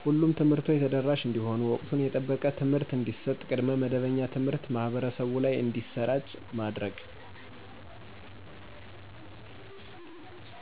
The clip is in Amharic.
ሁሉም ትምህርቶች ተደራሽ እንዲሆኑ ወቅቱን የጠበቀ ትምህርት እንዲሰጥ ቅድመ መደበኛ ትምሀርት ማህበረሰቡ ላይ እንዲሰራጭ